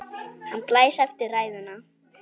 Hann blæs eftir ræðuna.